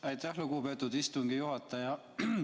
Aitäh, lugupeetud istungi juhataja.